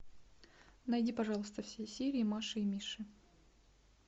найди пожалуйста все серии маши и миши